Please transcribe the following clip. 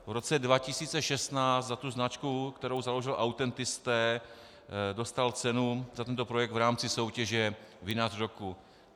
V roce 2016 za tu značku, kterou založil, Autentisté, dostal cenu za tento projekt v rámci soutěže Vinař roku.